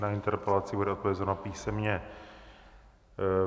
Na interpelaci bude odpovězeno písemně.